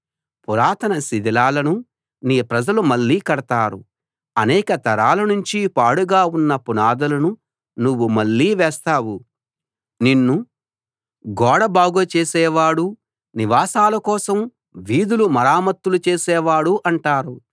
పురాతన శిథిలాలను నీ ప్రజలు మళ్ళీ కడతారు అనేక తరాల నుంచి పాడుగా ఉన్న పునాదులను నువ్వు మళ్ళీ వేస్తావు నిన్ను గోడ బాగుచేసేవాడు నివాసాల కోసం వీధులు మరమ్మత్తు చేసేవాడు అంటారు